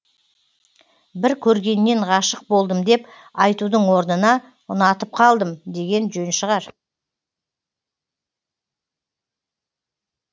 бір көргеннен ғашық болдым деп айтудың орнына ұнатып қалдым деген жөн шығар